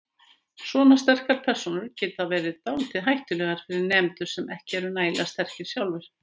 Svona sterkar persónur geti verið dálítið hættulegar fyrir nemendur sem ekki eru nægilega sterkir sjálfir.